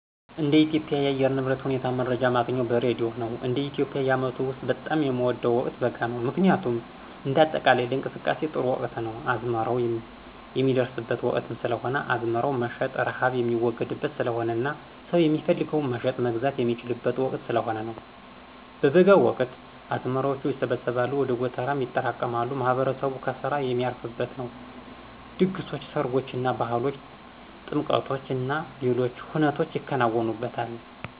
እንደ ኢትዮጵያ የአየር ንብረት ሁኔታ መረጃ ማገኘው በሬድዮ ነው፣ እንደ ኢትዮጵያ የአመቱ ውስጥ በጣም የምወደው ወቅት በጋ ነው ምክንያቱም እንደ አጠቃላይ ለንቀሳቀስም ጥሩ ወቅት ነው፣ አዝመራው ሚደርስበት ወቅትም ስለሆነ አዝመራም መሸጥ፣ ርሃብ ሚወገድበት ስለሆነና ሰው የፈለገውን መሸጥ፣ መግዛት የሚችልበት ወቅት ስለሆነ ነው። በበጋ ወቅት አዝመራዎች ይሰበሰባሉ ወደ ጎተራም ይጠራቀማሉ፣ ማህበረሰቡም ከስራ ሚያርፍበት ነው፣ ድግሶች፣ ሰርጎችና፣ ባህሎች፣ ጥምቀቶችና ሌሎች ሁነቶች ይከናወኑበታል።